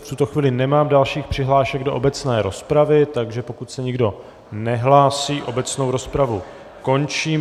V tuto chvíli nemám dalších přihlášek do obecné rozpravy, takže pokud se nikdo nehlásí, obecnou rozpravu končím.